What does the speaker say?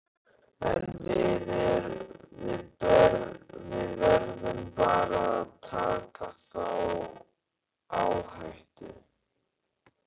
En við verðum bara að taka þá áhættu.